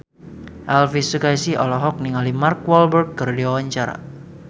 Elvi Sukaesih olohok ningali Mark Walberg keur diwawancara